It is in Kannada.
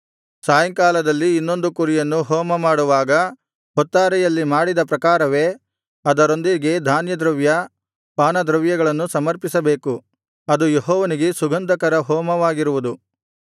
ಸಾಯಂಕಾಲದಲ್ಲಿ ಇನ್ನೊಂದು ಕುರಿಯನ್ನು ಹೋಮಮಾಡುವಾಗ ಹೊತ್ತಾರೆಯಲ್ಲಿ ಮಾಡಿದ ಪ್ರಕಾರವೇ ಅದರೊಂದಿಗೆ ಧಾನ್ಯದ್ರವ್ಯ ಪಾನದ್ರವ್ಯಗಳನ್ನೂ ಸಮರ್ಪಿಸಬೇಕು ಅದು ಯೆಹೋವನಿಗೆ ಸುಗಂಧಕರ ಹೋಮವಾಗಿರುವುದು